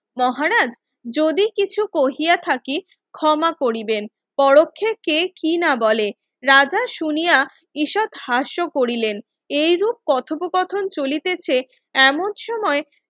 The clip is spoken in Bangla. মহারাজ যদি কিছু কহিয়া থাকি ক্ষমা করিবেন পরোক্ষে কি না বলে রাজা শুনিয়া ঈষৎ হাস্য করিলেন এইরূপ কথোপ কথন চলিতেছে এমন সময়